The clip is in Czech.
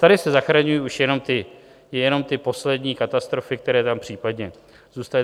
Tady se zachraňují už jenom ty poslední katastrofy, které tam případně zůstaly.